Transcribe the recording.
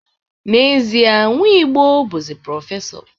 N'ezie, Nwigbo bụzi prọfesọ